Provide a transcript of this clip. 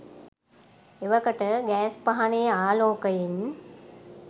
එවකට ගෑස් පහනේ ආලෝකයෙන්